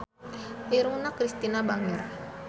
Irungna Kristina bangir